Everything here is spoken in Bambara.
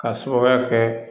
K'a sababuya kɛ